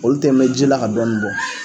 Olu tɛ mɛ ji la ka dɔɔnin bɔ